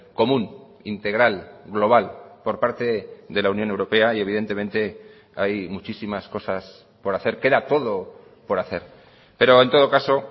común integral global por parte de la unión europea y evidentemente hay muchísimas cosas por hacer queda todo por hacer pero en todo caso